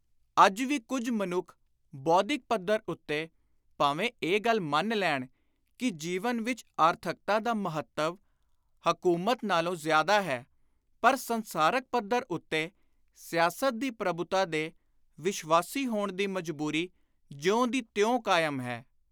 ਅੱਜ ਵੀ ਕੁਝ ਮਨੁੱਖ ਬੌਧਿਕ ਪੱਧਰ ਉੱਤੇ ਭਾਵੇਂ ਇਹ ਗੱਲ ਮੰਨ ਲੈਣ ਕਿ ਜੀਵਨ ਵਿਚ ‘ਆਰਥਕਤਾ’ ਦਾ ਮਹੱਤਵ ‘ਹਕੁਮਤ’ ਨਾਲੋਂ ਜ਼ਿਆਦਾ ਹੈ ਪਰ ਸੰਸਕਾਰਕ ਪੱਧਰ ਉੱਤੇ ਸਿਆਸਤ ਦੀ ਪ੍ਰਭੁਤਾ ਦੇ ਵਿਸ਼ਵਾਸੀ ਹੋਣ ਦੀ ਮਜਬੁਰੀ ਜਿਉਂ ਦੀ ਤਿਉਂ ਕਾਇਮ ਹੈ।